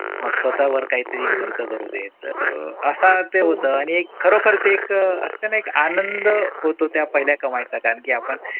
मग स्वतावर काहीतरी खर्च करू देत. तर असा ते होतं आणी खरोखर ते एक असत ना एक आनंद होतो त्या पहिला का कमाईचा कारण की आपण